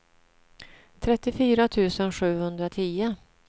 trettiofyra tusen sjuhundratio